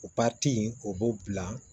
O o b'o bila